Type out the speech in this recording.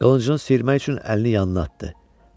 Qılıncın sıyırmaq üçün əlini yanına atdı.